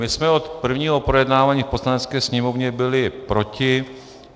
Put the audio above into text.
My jsme od prvního projednávání v Poslanecké sněmovně byli proti.